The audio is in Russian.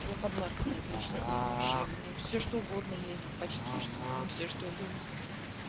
я под марками отлично ем вообще мне все что угодно лезет почти что все что угодно